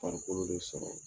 Farikolo de sɔrɔ